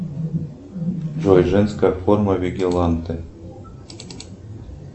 джой женская форма вигиланте